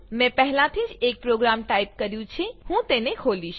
મેં પહેલાથી જ એક પ્રોગ્રામ ટાઈપ કર્યું છે હું તેને ખોલીશ